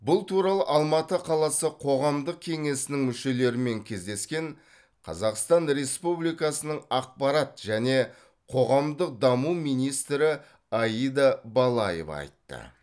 бұл туралы алматы қаласы қоғамдық кеңесінің мүшелерімен кездескен қазақстан республикасының ақпарат және қоғамдық даму министрі аида балаева айтты